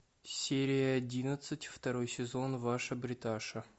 серия одиннадцать второй сезон ваша бриташа